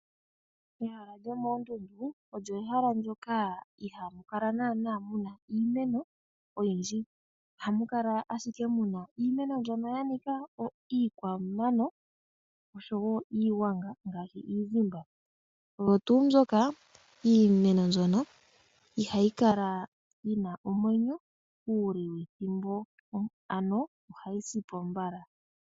Ehala lyomoondundu olyo ehala ndyoka ihaamu kala naanaa mu na iimeno oyindji. Ohamu kala ashike mu na iimeno mbyoka ya nika iikwamano oshowo iigwanaga ngaashi iizimba. Omo tuu moka iimeno mbyono ihayi kala yi na omwenyo uule wethimbo, ohayi si po mbala.